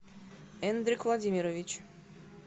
эндрик владимирович